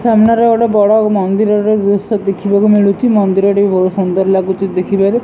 ସାମ୍ନାରେ ଗୋଟେ ବଡ଼ ମନ୍ଦିରର ଦୃଶ୍ୟ ଦେଖିବାକୁ ମିଳୁଛି ମନ୍ଦିରଟି ବହୁତ୍ ସୁନ୍ଦର ଲାଗୁଛି ଦେଖିବାରେ।